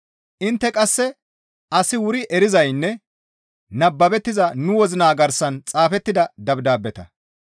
Intte qasse asi wuri erizaynne nababettiza nu wozina garsan xaafettida dabdaabeta.